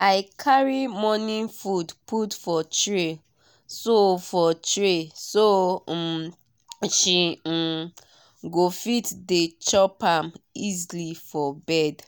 i carry morning food put for tray so for tray so um she um go fit dey chop am easily for bed.